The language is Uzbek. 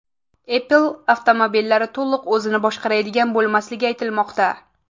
Apple avtomobillari to‘liq o‘zini boshqaradigan bo‘lmasligi aytilmoqda.